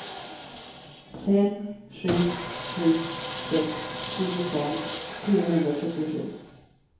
fem sju sju sex tjugofem fyrahundrasjuttiosju